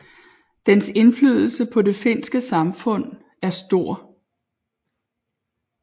Dens indflydelse på det finske samfund er stor